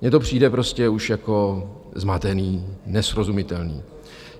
Mně to přijde prostě už jako zmatené, nesrozumitelné.